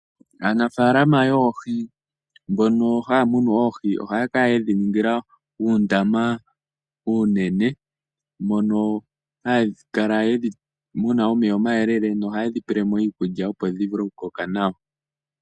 Aanafaalama yoohi mbono haya munu oohi ohaya kala yedhi ningila uundama uunene. Ohadhi tulilwamo omeya gayela, tadhi pelwamo iikulya opo dhivule okukoka nawa.